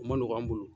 O ma nɔgɔn an bolo